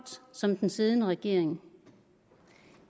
som den siddende regering